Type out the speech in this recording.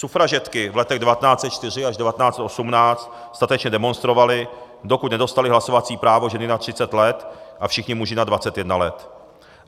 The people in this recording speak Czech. Sufražetky v letech 1904 až 1918 statečně demonstrovaly, dokud nedostaly hlasovací právo ženy nad 30 let a všichni muži nad 21 let.